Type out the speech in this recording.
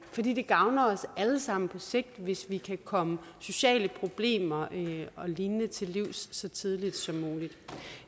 fordi det gavner os alle sammen på sigt hvis vi kan komme sociale problemer og lignende til livs så tidligt som muligt